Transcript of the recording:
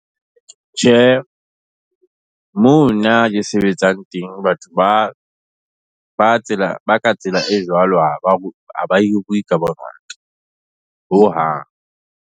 Tjhe, mo nna ke sebetsang teng batho ba ka tsela e jwalo ha ba hiriwi ka bongata, hohang.